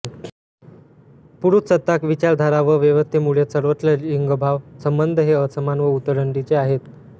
पुरुषसत्ताक विचारधारा व व्यवस्थेमुळे सर्वत्र लिंगभाव संबंध हे असमान व उतरंडीचे आहेत